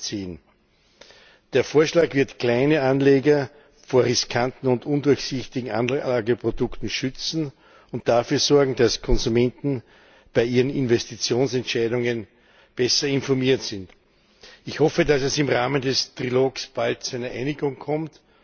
2010. Der Vorschlag wird kleine Anleger vor riskanten und undurchsichtigen Anlageprodukten schützen und dafür sorgen, dass Konsumenten bei ihren Investitionsentscheidungen besser informiert sind. Ich hoffe, dass es im Rahmen des Trilogs bald zu einer Einigung kommt.